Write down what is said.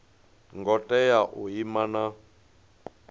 ngo tea u ima na